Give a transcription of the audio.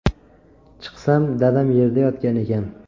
Chiqsam, dadam yerda yotgan ekan.